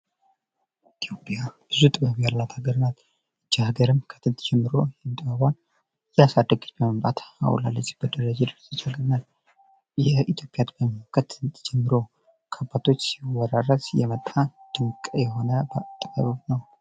ኢትዮጵያ ብዙ ጥበብ ያላት ሀገር ናት። ይች ሀገርም ከጥንት ጀምሮ ጥበቧን እያሳደገች በመምጣት አሁን ላይ ላለችበት ደረጃ ደርሶ ይገኛል። ይህ የኢትዮጵያ ጥበብ ከጥንት ጀምሮ ከአባቶች ሲወራረስ የመጣ ድንቅ ጥበብ ነው።